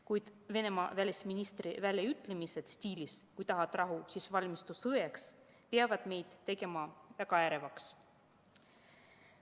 Kuid Venemaa välisministri väljaütlemised stiilis "kui tahad rahu, siis valmistu sõjaks" peavad meid tegema väga ärevaks.